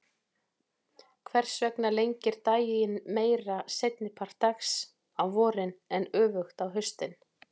Hvers vegna lengir daginn meira seinni part dags á vorin en öfugt á haustin?